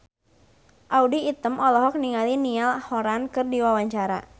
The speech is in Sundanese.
Audy Item olohok ningali Niall Horran keur diwawancara